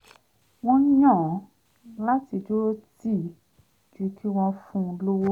wọ́n yàn láti dúró tì í ju kí wọ́n fun lówó